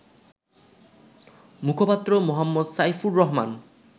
মুখপাত্র মো. সাইফুর রহমান